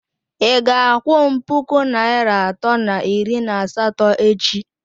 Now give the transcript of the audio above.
Ị ga-akwụ m puku naịra atọ na iri na asatọ echi?